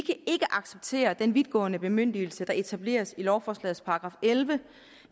acceptere den vidtgående bemyndigelse der etableres i lovforslagets § elleve